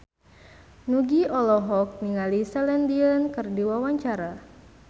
Nugie olohok ningali Celine Dion keur diwawancara